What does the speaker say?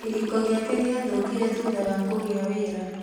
Kĩhiko gĩake gĩathũkire thutha wa kũgĩa wĩra